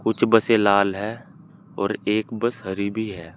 कुछ बसें लाल है और एक बस हरी भी है।